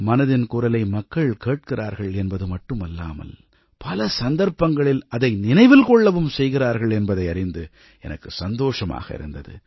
மனதின் குரலை மக்கள் கேட்கிறார்கள் என்பது மட்டுமல்லாமல் பல சந்தர்ப்பங்களில் அதை நினைவில் கொள்ளவும் செய்கிறார்கள் என்பதை அறிந்து எனக்கு சந்தோஷமாக இருந்தது